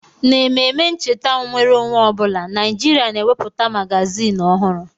N'ememe ncheta nnwere onwe ọ bụla, Naịjirịa na-ewepụta magaziini ọhụrụ.